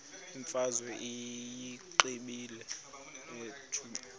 imfazwe uyiqibile utshaba